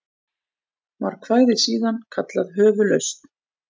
Var kvæðið síðan kallað Höfuðlausn.